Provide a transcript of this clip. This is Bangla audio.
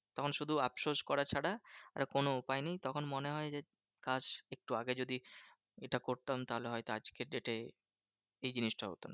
তখন শুধু আফসোস করা ছাড়া আর কোনো উপায় নেই। তখন মনে হয় যে, একটু আগে যদি এটা করতাম তাহলে হয়ত আজকের date এ এই জিনিসটা হতো না।